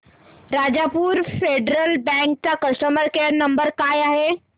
Rajapur federal bank चा customer care number काय आहे